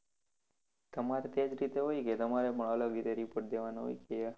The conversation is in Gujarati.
તમારે તે જ રીતે હોય કે તમારે પણ અલગ રીતે report દેવાનો હોય ત્યાં